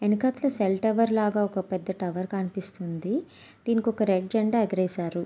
వెనకతల cell tower లాగా ఒక పెద్ద టవర్ కనిపిస్తుంది. దీనికొక రెడ్ జెండా ఎగరేశారు.